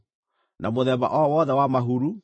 na mũthemba o wothe wa mahuru